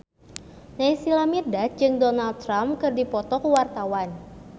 Naysila Mirdad jeung Donald Trump keur dipoto ku wartawan